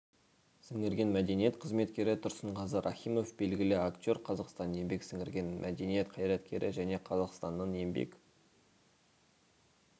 сіңірген мәдениет қызметкері тұрсынғазы рахимов белгілі актер қазақстанның еңбек сіңірген мәдениет қайраткері және қазақстанның еңбек